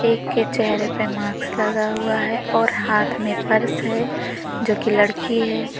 एक के चेहरे पे मास्क लगा हुआ है और हाथ में पर्स है जो कि लड़की है।